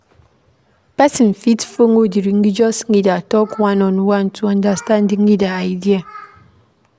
Person fit follow di religious leader talk one on one to understand di leader idea